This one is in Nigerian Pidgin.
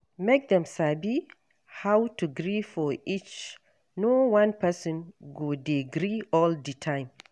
Make dem sabi how to gree for each no one person go de gree all di time